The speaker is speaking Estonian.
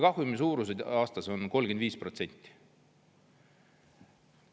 Kahjumi suurus aastas on 35%.